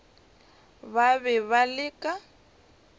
ba be ba le ka